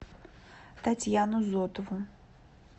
татьяну зотову